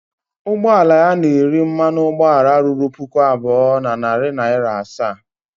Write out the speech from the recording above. Ụgbọ ala ya na-eri mmanụ ụgbọala ruru puku abụọ na narị naịra asaa